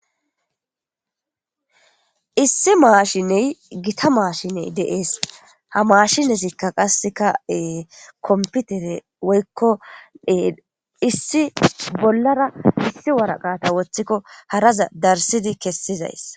Issi maashinee githa maashinee de7ees; ha maashinethikka qassikka ee komppitere woykko ee issi bollara issi woraqata woththikko haraza darissidi kessizayssa.